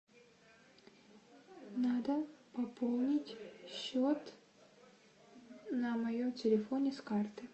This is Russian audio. надо пополнить счет на моем телефоне с карты